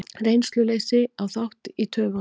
Reynsluleysi á þátt í töfunum